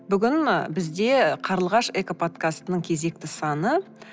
бүгін ы бізде қарлығаш экоподскастының кезекті саны